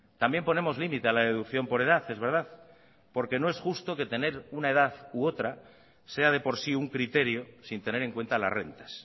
también ponemos límite a la deducción por edad es verdad porque no es justo que tener una edad u otra sea de por sí un criterio sin tener en cuenta las rentas